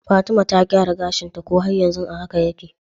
Fatima ta gyara gashinta ko har yanzu a haka yake?